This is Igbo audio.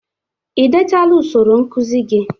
Ị dechala usoro nkụzi gi?